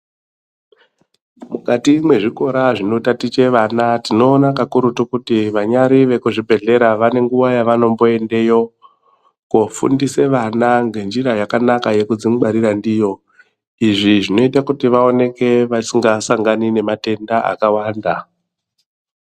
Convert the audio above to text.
Mukati mwezvikora zvinotatiche vana tinoona kakurutu kuti vanyari vekuzvibhedhlera vane nguwa yavanomboendeyo koofundise vana ngenjira yakanaka yekudzingwarira ndiyo. Izvi zvinoite kuti vaoneke vasingasangani nematenda akawanda.